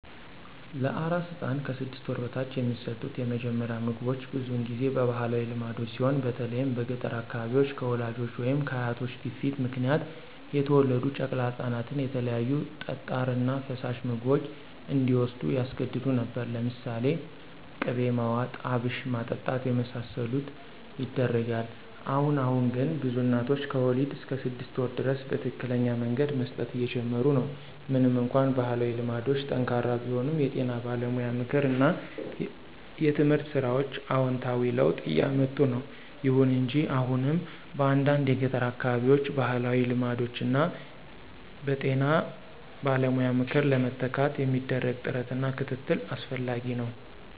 ለአራስ ሕፃን (ከ 6 ወር በታች) የሚሰጡት የመጀመሪያ ምግቦች ብዙውን ጊዜ በባህላዊ ልማዶች ሲሆን በተለይም በገጠር አካባቢዎች፣ ከወላጆች ወይም ከአያቶች ግፊት ምክንያት የተወለዱ ጨቅላ ህፃናትን የተለያዩ ጠጣር እና ፈሳሽ ምግቦች እንዲዎስዱ ያስገድዱ ነበር። ለምሳሌ ቅቤ ማዋጥ፣ አብሽ ማጠጣት የመሳሰሉት ይደረጋል። አሁን አሁን ግን ብዙ እናቶች ከወሊድ እስከ 6 ወር ድረስ በትክክለኛ መንገድ መስጠት እየጀመሩ ነው። ምንም እንኳን ባህላዊ ልማዶች ጠንካራ ቢሆኑም፣ የጤና ባለሙያ ምክር እና የትምህርት ሥራዎች አዎንታዊ ለውጥ እያምጡ ነው። ይሁን እንጂ አሁንም በአንዳንድ የገጠር አካባቢዎች ባህላዊ ልማዶችን በጤና ባለሙያ ምክር ለመተካት የሚደረግ ጥረት እና ክትትል አስፈላጊ ነው።